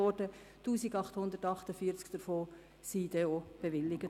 1848 davon wurden bewilligt.